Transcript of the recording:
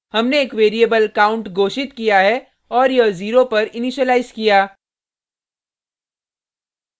हमने एक variable count घोषित किया है और यह जीरो पर इनीशिलाइज किया